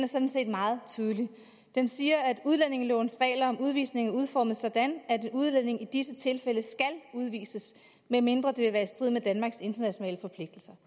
sådan set meget tydelig den siger at udlændingelovens regler om udvisning er udformet sådan at udlændinge i disse tilfælde skal udvises medmindre det vil være i strid med danmarks internationale forpligtelser